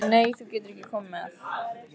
Nei, þú getur ekki komið með.